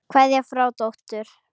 Kveðja frá dóttur.